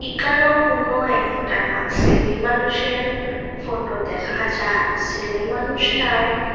এখানেও কোনো একটা সেলে মানুষের ফটো দেখা যায় ছেলে মানুষটায়--